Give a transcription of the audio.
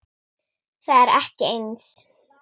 Það er ekki eins.